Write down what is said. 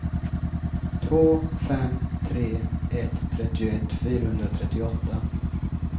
två fem tre ett trettioett fyrahundratrettioåtta